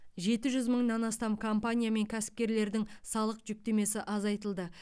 жеті жүз мыңнан астам компания мен кәсіпкерлердің салық жүктемесі азайтылды